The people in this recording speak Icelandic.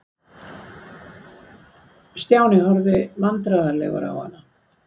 Stjáni horfði vandræðalegur á hana.